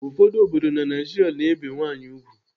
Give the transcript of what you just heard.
Ụfọdụ obodo na Naijiria na-ebe nwaanyị ùgwù.